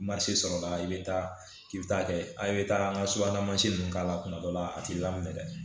sɔrɔla i bɛ taa k'i bɛ taa kɛ a bɛ taa an ka subahana mansin ninnu k'a la kuma dɔ la a tɛ laminɛ